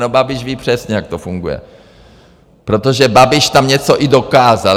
No Babiš ví přesně, jak to funguje, protože Babiš tam něco i dokázal.